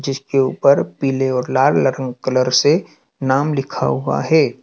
जिसके ऊपर पीले और लाल कलर से नाम लिखा हुआ है।